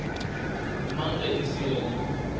mang ge e se yena